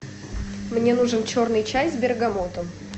мне нужен черный чай с бергамотом